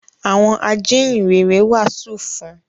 Àwọn “ Ajíhìnrere” wàásù fún un.